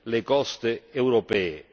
le coste europee.